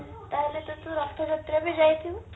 ତାହାଲେ ତ ତୁ ରଥଯାତ୍ରା ବି ଯାଇଥିବୁ